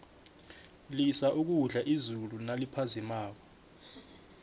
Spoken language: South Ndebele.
lisa ukudla izulu naliphazimako